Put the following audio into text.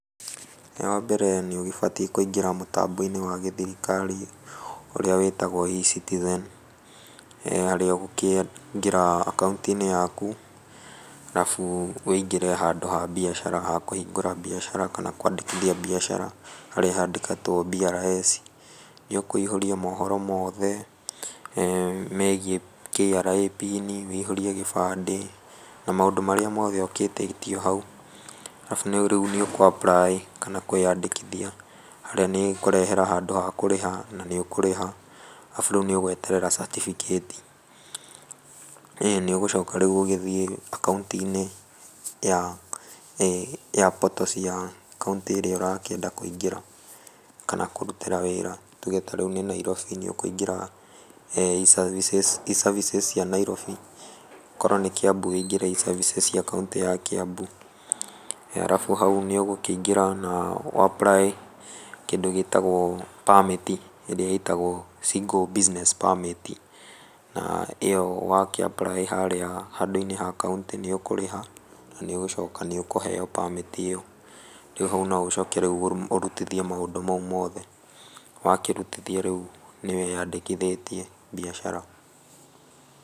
Wa mbere nĩ ũgĩbatiĩ kũingĩra mũtambo-inĩ wa gĩthirikari ũrĩa wĩtagwo E-citizen, harĩa ũgũkĩingĩra akaũnti-inĩ yaku arabu wũingĩre handũ ha mbiacara handũ ha kũhingũra mbiacara kana kwandĩkithia mbicara harĩa handĩkĩtwo BRS. Nĩ ũkũihũria mohoro mothe megiĩ KRA pini wũihũrie gĩbandĩ na maũndũ marĩa mothe ũgĩtĩtio hau. Arabu rĩu nĩ ũkũ apply kana kwĩyandĩkithia harĩa nĩ ĩkũrehera handũ ha kũrĩha na nĩ ũkũrĩha, arabu rĩu nĩ ũgweterera certificate. ĩni nĩ ũgũcoka rĩu ũgĩthiĩ akaũnti-inĩ ya portal cia county ĩrĩa ũrakĩenda kũingĩra kana kũrutĩra wĩra. Tũge tarĩu nĩ Nairobi nĩ ũkũingira E-Services cia Nairobi, okorwo nĩ kĩambu nĩ ũkũingĩra E-seravices cia Kĩambu. Arabu hau nĩ ũgũkĩingĩra na ũ apply kĩndũ gĩtagwo permit ĩrĩa ĩtagwo single business permit. Na ĩyo wakĩapply harĩa handũ-inĩ ha kaũntĩ nĩ ũkũrĩha na nĩ ũgucoka nĩ ũkũheo permit ĩyo. Rĩu hau no ũgĩcoke ũrutithie maũndũ mau mothe, wakĩrutithia rĩu nĩ wĩyandĩkithĩtie mbiacara.